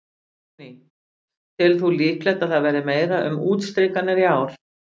Guðný: Telur þú líklegt að það verði meira um útstrikanir í ár?